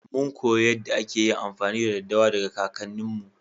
Mun koyi yadda ake amfani da daddawa daga kakanni mu.